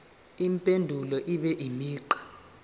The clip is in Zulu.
impendulo ibe imigqa